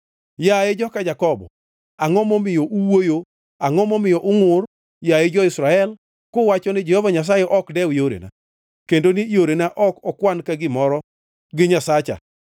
Yaye joka Jakobo angʼo momiyo uwuoyo, angʼo momiyo ungʼur, yaye jo-Israel, kuwacho niya, “Jehova Nyasaye ok dew yorena; kendo ni yorena ok okwan ka gimoro gi Nyasacha.”